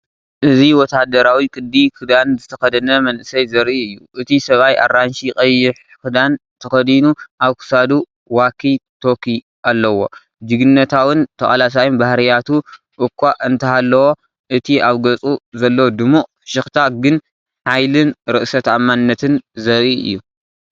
እዚ ወተሃደራዊ ቅዲ ክዳን ዝተኸድነ መንእሰይ ዘርኢ እዩ። እቲ ሰብኣይ ኣራንሺ ቀይሕ ክዳን ተኸዲኑ ኣብ ክሳዱ ዋኪ ቶኪ ኣለዎ። ጅግንነታውን ተቓላሳይን ባህርያቱ እኳ እንተሃለዎ እቲ ኣብ ገጹ ዘሎ ድሙቕ ፍሽኽታ ግን ሓይልን ርእሰ ተኣማንነትን ዘርኢ እዩ።